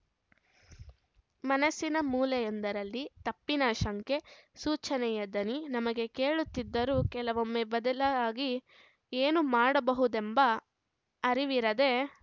ಮನಸ್ಸಿನ ಮೂಲೆಯೊಂದರಲ್ಲಿ ತಪ್ಪಿನ ಶಂಕೆ ಸೂಚನೆಯ ದನಿ ನಮಗೆ ಕೇಳುತ್ತಿದ್ದರೂ ಕೆಲವೊಮ್ಮೆ ಬದಲಾಗಿ ಏನು ಮಾಡಬಹುದೆಂಬ ಅರಿವಿರದೆ